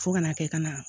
Fo ka na kɛ ka na